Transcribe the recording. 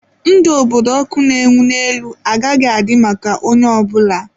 Ndụ obodo ọkụ na-enwu n'elu agaghị adị maka onye ọ bụla.